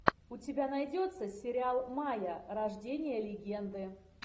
у тебя найдется сериал майя рождение легенды